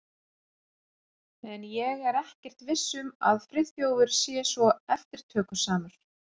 En ég er ekkert viss um að Friðþjófur sé svo eftirtökusamur.